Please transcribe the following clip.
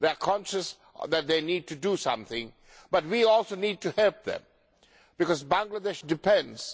They are conscious that they need to do something, but we also need to help them because Bangladesh depends